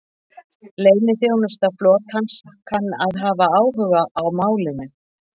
Leyniþjónusta flotans kann að hafa áhuga á málinu